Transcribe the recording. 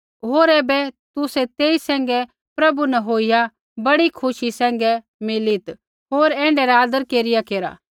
होर ऐबै तुसै तेई सैंघै प्रभु न होईया बड़ी खुशी सैंघै मिलित होर ऐण्ढै रा आदर केरिया केरा